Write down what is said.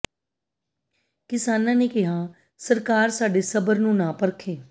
ਕਿਸਾਨਾਂ ਨੇ ਕਿਹਾ ਸਰਕਾਰ ਸਾਡੇ ਸਬਰ ਨੂੰ ਨਾ ਪਰਖੇ